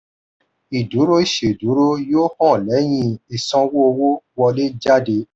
ìdúró ìṣèdúró yóò hàn lẹ́yìn ìsanwó owó wọlé/jádé